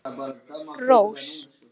Rós